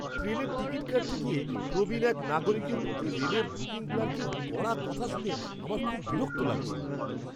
ট্রেনের টিকিট কাটতে গিয়ে প্রবীণ এক নাগরিকের প্রতি রেলের বুকিং ক্লার্কের কড়া কথা শুনে আমার খুব বিরক্ত লাগছিল।